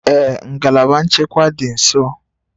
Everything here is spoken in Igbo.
Ee ngalaba nchekwa dị nso